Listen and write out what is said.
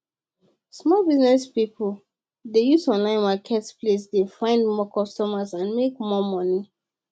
small business people dey use online market place dey find more costumers and make more money